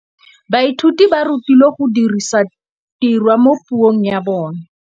Baithuti ba rutilwe go dirisa tirwa mo puong ya bone.